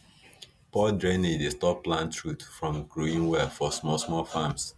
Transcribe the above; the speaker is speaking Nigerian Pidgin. poor drainage dey stop plant root from growing well for small small farms